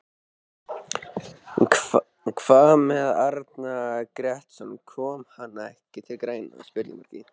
Hvað með Arnar Grétarsson, kom hann ekki til greina?